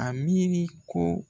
A miiri ko